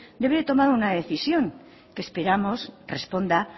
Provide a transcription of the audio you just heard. debe tomar una decisión que esperamos responda